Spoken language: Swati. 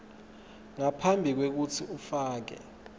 ngaphambi kwekutsi ufake